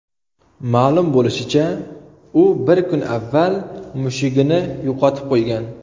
Ma’lum bo‘lishicha, u bir kun avval mushugini yo‘qotib qo‘ygan.